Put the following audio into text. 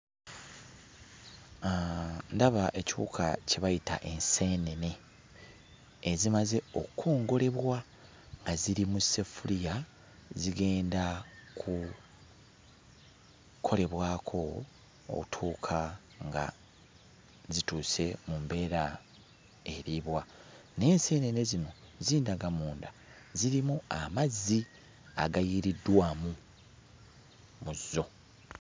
Ndaba ekiwuka kye bayita enseenene ezimaze okkongolebwa nga ziri mu ssefuliya zigenda kukolebwako ottuuka nga zituuse mu mbeera eriibwa. Naye enseenene zino zindaga munda zirimu amazzi agayiiriddwamu mu zo.